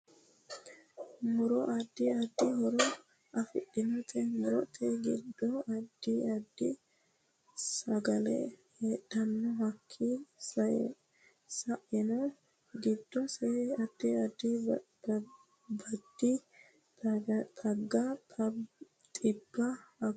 Muro addi addi horo afidhinote murote giddo addiaddi sagale heedhanno hakii saenno giddose addi addi baadi xagga xibba gargatanoti leeltanno